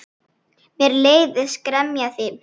Mér leiðist gremja þín.